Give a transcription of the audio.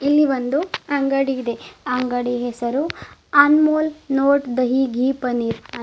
ಇಲ್ಲಿ ಒಂದು ಅಂಗಡಿ ಇದೆ ಆ ಅಂಗಡಿ ಹೆಸರು ಅನ್ಮೊಲ್ ನೋಟ್ ದಹಿ ಗೀ ಪನ್ನೀರ್.